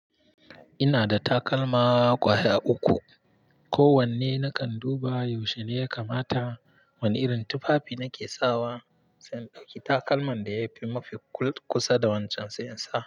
Ina da takalma ƙwaya uku. Ko wanne nakan duba yaushe ne ya kamata wani irin tufafi nake sawa, sai in ɗauki takalman da yafi mafi kusa da wancan sai in sawa.